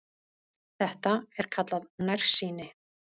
Þetta er kallað nærsýni.